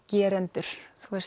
gerendur